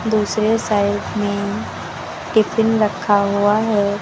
दूसरे साइड में टिफिन रखा हुआ है।